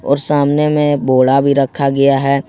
और सामने में बोड़ा भी रखा गया है ।